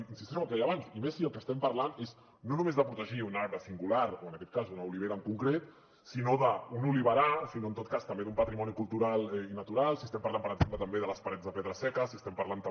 insisteixo en el que deia abans i més si del que estem parlant és no només de protegir un arbre singular o en aquest cas una olivera en concret sinó un oliverar i en tot cas també un patrimoni cultural i natural i estem parlant per exemple també de les parets de pedra seca i estem parlant també